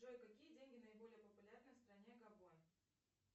джой какие деньги наиболее популярны в стране габон